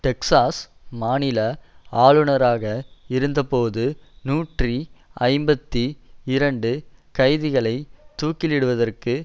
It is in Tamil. டெக்சாஸ் மாநில ஆளுனராக இருந்தபோது நூற்றி ஐம்பத்தி இரண்டு கைதிகளை தூக்கிலிடுவதற்கு